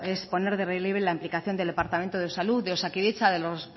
es poner en relieve la implicación del departamento de salud de osakidetza de los